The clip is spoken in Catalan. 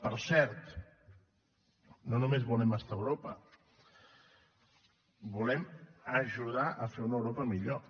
per cert no només volem estar a europa volem ajudar a fer una europa millor